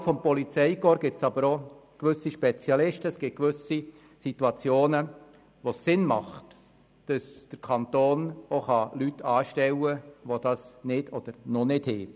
Innerhalb des Polizeikorps gibt es jedoch auch gewisse Situationen, in welchen es sinnvoll ist, wenn der Kanton Leute anstellen kann, welche das nicht oder noch nicht sind.